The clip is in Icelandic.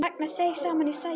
Ragnar seig saman í sætinu.